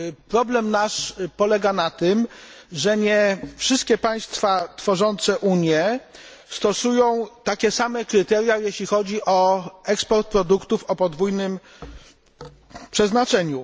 Problem nasz polega na tym, że nie wszystkie państwa tworzące Unię stosują takie same kryteria, jeśli chodzi o eksport produktów o podwójnym przeznaczeniu.